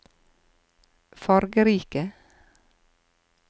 fargerike